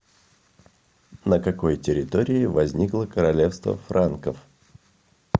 на какой территории возникло королевство франков